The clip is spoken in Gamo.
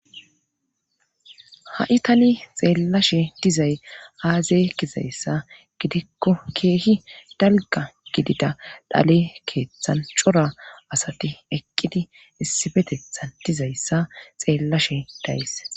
Ha'i tani xeellashe dizay aazey kizayssa gidikko keehi dalga gidida dhale keeththan cora asati eqqidi issibetetha dizayssa xeellashe dayys